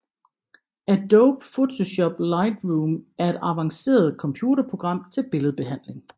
Adobe Photoshop Lightroom er et avanceret computerprogram til billedbehandling